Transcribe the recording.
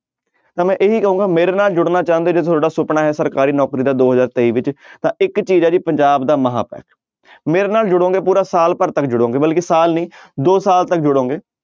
ਤਾਂ ਮੈਂ ਇਹੀ ਕਹਾਂਗਾ ਮੇਰੇ ਨਾਲ ਜੁੜਨਾ ਚਾਹੁੰਦੇ ਜੇ ਤੁਹਾਡਾ ਸੁਪਨਾ ਹੈ ਸਰਕਾਰੀ ਨੌਕਰੀ ਦਾ ਦੋ ਹਜ਼ਾਰ ਤੇਈ ਵਿੱਚ ਤਾਂ ਇੱਕ ਚੀਜ਼ ਹੈ ਜੀ ਪੰਜਾਬ ਦਾ ਮਹਾਂਪੈਕ ਮੇਰੇ ਨਾਲ ਜੁੜੋਗੇ ਪੂਰਾ ਸਾਲ ਭਰ ਤੱਕ ਜੁੜੋਗੇ ਬਲਕਿ ਸਾਲ ਨੀ ਦੋ ਸਾਲ ਤੱਕ ਜੁੜੋਗੇ।